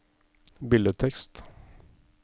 billedtekst